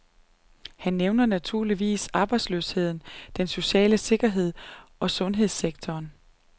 Han nævner naturligvis arbejdsløsheden, den sociale sikkerhed og sundhedssektoren.